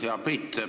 Hea Priit!